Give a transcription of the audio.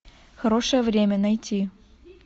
хорошее время найти